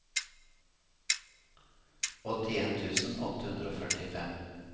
åttien tusen åtte hundre og førtifem